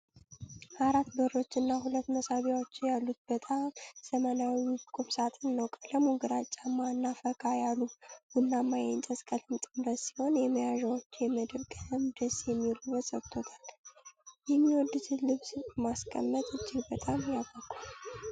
አራት በሮች እና ሁለት መሳቢያዎች ያሉት በጣም ዘመናዊና ውብ ቁም ሳጥን ነው። ቀለሙ ግራጫማ እና ፈካ ያለ ቡናማ የእንጨት ቀለም ጥምረት ሲሆን፣ የመያዣዎቹ የመዳብ ቀለም ደስ የሚል ውበት ሰጥቶታል። የሚወዱትን ልብስ ማስቀመጥ እጅግ በጣም ያጓጓል።